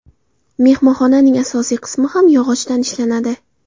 Mehmonxonaning asosiy qismi ham yog‘ochdan ishlanadi.